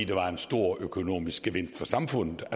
var en stor økonomisk gevinst for samfundet